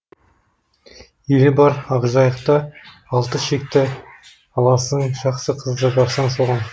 елі бар ақжайықта алты шекті аласың жақсы қызды барсаң соған